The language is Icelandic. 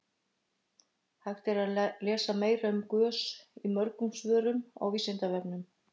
Hægt er að lesa meira um gös í mörgum svörum á Vísindavefnum.